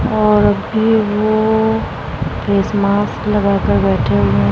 और अब भी वो फेस मास्क लगा कर बैठे हुए हैं।